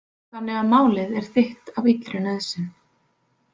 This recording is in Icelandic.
Þannig að málið er þitt af illri nauðsyn.